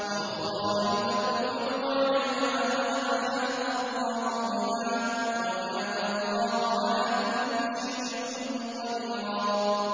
وَأُخْرَىٰ لَمْ تَقْدِرُوا عَلَيْهَا قَدْ أَحَاطَ اللَّهُ بِهَا ۚ وَكَانَ اللَّهُ عَلَىٰ كُلِّ شَيْءٍ قَدِيرًا